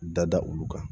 Da da olu kan